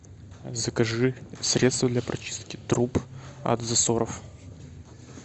закажи средство для прочистки труб от засоров